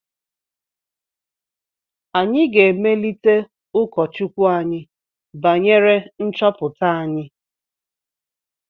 Anyị ga-emelite ụkọchukwu anyị banyere nchọpụta anyị